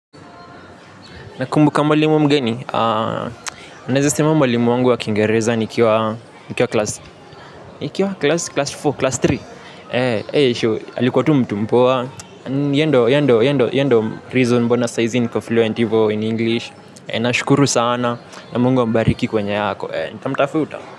Na kumbuka mwalimu mgeni naeza sema mwalimu wa wa kingereza nikiwa class four class three eeh alikua tu mtu mpoa yeye ndio yeye ndio reason mbona sahizi niko fluent hivo in English nashukuru sana na Mungu ambariki kwenye ako nitamtafuta.